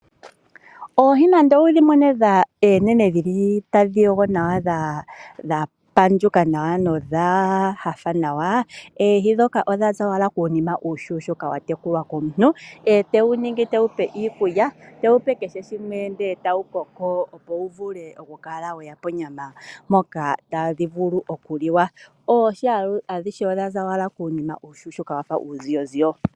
Oohi nande owudhi mone eenene dhili tadhi yogo nawa dha panuka nawa nodha hafa nawa, oohi dhoka odha za wala kuunima uushushuka watekulwa komuntu ete wu ningi te wupe iikulya, te wupe kehe shimwe ndele ta wukoko opo wu vule okukala weya monyama mpoka tadhi vulu oku liwa. Oohi adhihe odhaza owala kuunima uushushuka wafa uuziyoziyo.